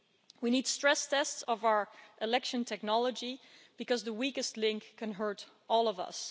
We need stress tests of our election technology, because the weakest link can hurt all of us.